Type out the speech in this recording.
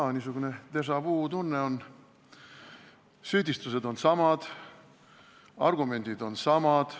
Jaa, niisugune déjà-vu tunne on – süüdistused on samad, argumendid on samad.